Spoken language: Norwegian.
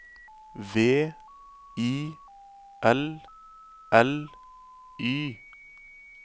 V I L L Y